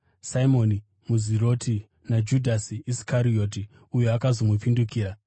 Simoni muZiroti naJudhasi Iskarioti uyo akazomupandukira.